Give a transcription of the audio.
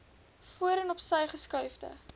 voorheen opsy geskuifde